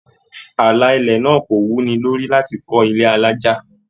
Àlà ilẹ̀ náà kò wuni lórí láti kọ ilé alájá.